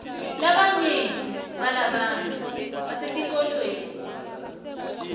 labanyenti balabantfu basetikolweni